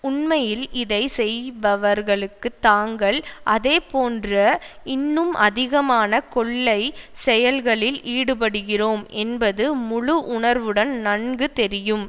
உண்மையில் இதை செய்பவர்களுக்கு தாங்கள் அதே போன்ற இன்னும் அதிகமான கொள்ளைச் செயல்களில் ஈடுபடுகிறோம் என்பது முழு உணர்வுடன் நன்கு தெரியும்